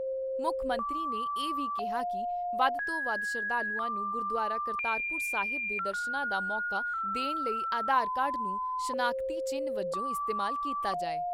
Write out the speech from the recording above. ਮੁੱਖ ਮੰਤਰੀ ਨੇ ਇਹ ਵੀ ਕਿਹਾ ਕਿ ਵੱਧ ਤੋਂ ਵੱਧ ਸ਼ਰਧਾਲੂਆਂ ਨੂੰ ਗੁਰਦੁਆਰਾ ਕਰਤਾਰਪੁਰ ਸਾਹਿਬ ਦੇ ਦਰਸ਼ਨਾਂ ਦਾ ਮੌਕਾ ਦੇਣ ਲਈ ਆਧਾਰ ਕਾਰਡ ਨੂੰ ਸ਼ਨਾਖਤੀ ਚਿੰਨ ਵਜੋਂ ਇਸਤੇਮਾਲ ਕੀਤਾ ਜਾਏ।